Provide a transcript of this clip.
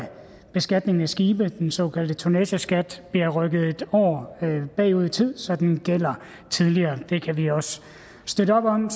beskatningen af skibe den såkaldte tonnageskat bliver rykket en år bagud i tid så den gælder tidligere det kan vi også støtte op om